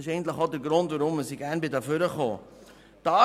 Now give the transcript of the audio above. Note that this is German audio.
Dies ist auch der Grund, weswegen ich gerne ans Rednerpult getreten bin.